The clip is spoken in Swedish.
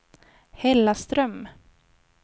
Hällaström